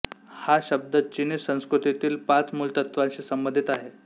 हा शब्द चिनी संस्कृतीतील पाच मूलतत्त्वांशी संबंधित आहे